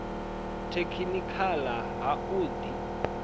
tekhinikha ḽa ha u ḓi